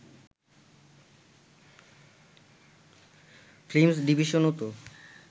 films ডিভিশনও তো